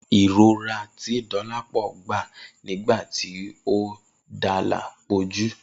Irora ti Dolapo gba nigba ti o dala po ju.